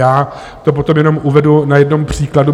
Já to potom jenom uvedu na jednom příkladu.